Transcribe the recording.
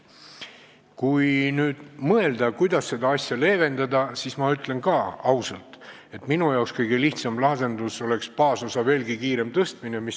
Kui mõelda, kuidas seda probleemi leevendada, siis ütlen ausalt, et minu arvates kõige lihtsam lahendus oleks baasosa veelgi kiirem suurendamine.